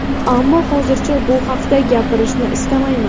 Ammo hozircha bu haqda gapirishni istamayman.